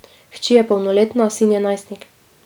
Hči je polnoletna, sin je najstnik.